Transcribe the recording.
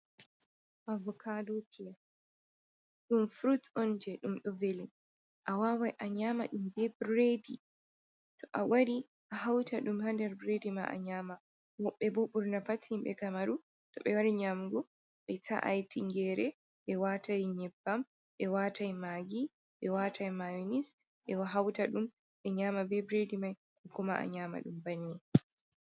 Avoka dokiya ɗum frut on je ɗum ɗo velin a wawai a nyama ɗum be bredi, to a wari a hauta ɗum ha nder bredi ma a nyama. Woɓbe bo ɓurna pat himɓe kamaru toɓe wari nyamugo ɓe ta’ai tinyere ɓe wata nyebbam ɓe watai magi ɓe watai mayonis ɓe hauta ɗum ɓe nyama be bredi mai ko kuma a nyama ɗum banni.